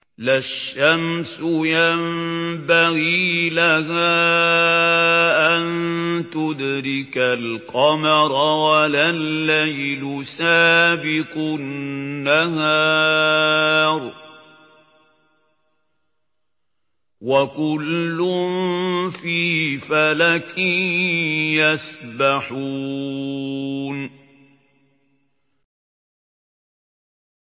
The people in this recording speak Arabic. لَا الشَّمْسُ يَنبَغِي لَهَا أَن تُدْرِكَ الْقَمَرَ وَلَا اللَّيْلُ سَابِقُ النَّهَارِ ۚ وَكُلٌّ فِي فَلَكٍ يَسْبَحُونَ